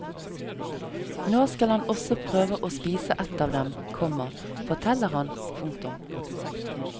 Nå skal han også prøve å spise et av dem, komma forteller han. punktum